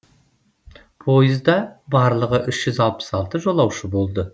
пойызда барлығы үш жүз алпыс алты жолаушы болды